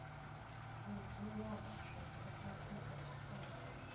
vhudzulo ha tshoṱhe afrika tshipembe